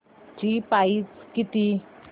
ची प्राइस किती